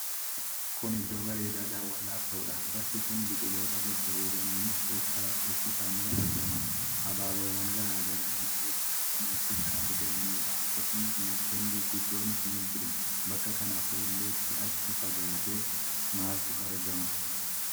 Kun iddoo bareedaa dawwannnaaf ta'udha. Bakki kun biqiloota babbareedaniin uffifamee argama. Habaaboowwan garaa garaa illee bakka kanatti kan argamanidha. Akkasuma mukkeen gurguddoonis ni jiru. Bakka kana fuulletti achi fagaatee maaltu argama?